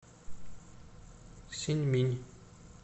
синьминь